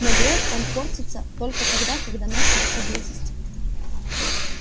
но грег он портится только тогда когда нас нет поблизости